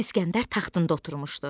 İsgəndər taxtında oturmuşdu.